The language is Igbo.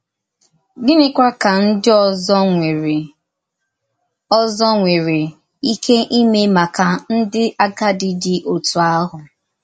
Gịnịkwà ka ndí òzò nwerè òzò nwerè íké ímè màkà ndí àgádì dị otú ahụ?